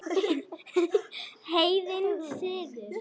Heiðinn siður